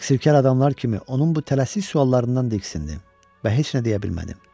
Təqsirkar adamlar kimi onun bu tələsik suallarından diksindim və heç nə deyə bilmədim.